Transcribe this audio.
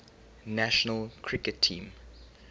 national cricket team